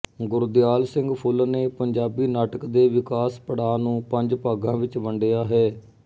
ਗੁਰਦਿਆਲ ਸਿੰਘ ਫੁੱਲ ਨੇ ਪੰਜਾਬੀ ਨਾਟਕ ਦੇ ਵਿਕਾਸ ਪੜਾਅ ਨੂੰ ਪੰਜ ਭਾਗਾਂ ਵਿਚ ਵੰਡਿਆ ਹੈ